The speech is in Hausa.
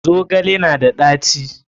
Zogale na da ɗaci?